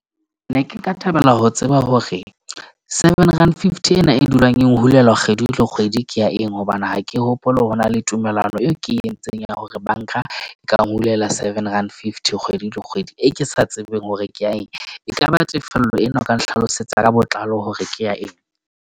Ne ke nka thabela ho tseba hore seven rand fifty ena e dulang e hulelwa kgwedi le kgwedi, ke ya eng hobane ha ke hopole ho na le tumellano eo ke entseng ya hore bank-a e ka nhulela seven rand fifty kgwedi le kgwedi. E ke sa tsebeng hore ke ya eng, ekaba tefello ena o ka nhlalosetsa ka botlalo hore ke ya eng.